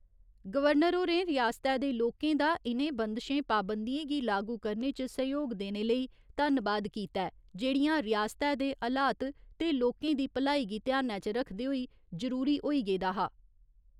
Governor होरें रिआसतै दे लोकें दा इनें बंदशें पाबंदियें गी लागू करने च सैह्‌योग देने लेई, धन्नबाद कीता ऐ जेहड़ियां रिआसतै दे हलात ते लोकें दी भलाई गी ध्यानै च रखदे होई जरूरी होई गेदा हा।